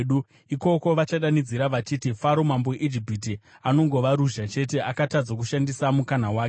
Ikoko vachadanidzira vachiti, ‘Faro mambo weIjipiti anongova ruzha chete; akatadza kushandisa mukana wake.’